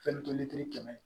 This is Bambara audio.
Fɛn toli kɛmɛ